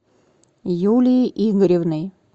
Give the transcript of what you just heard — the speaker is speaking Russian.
юлией игоревной